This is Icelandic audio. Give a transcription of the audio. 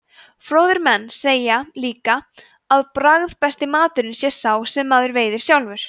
fróðir menn segja líka að bragðbesti maturinn sé sá sem maður veiðir sjálfur